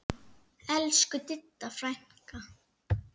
Elsku Didda frænka.